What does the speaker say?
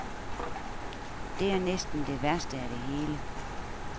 Det er næsten det værste af det hele.